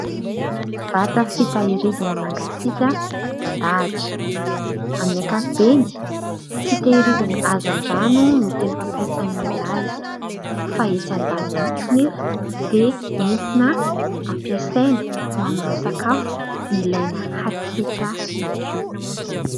Vata fitahirizana mangasika idandahatra. Amin'ny ankapobeny fitahirizana hazan-drano no tena fampiasan'ny olona azy, fa etsy an-daniny koa anefa dia entina ampiasaina ho amin'ireo sakafo ilana hatsiaka ihany koa.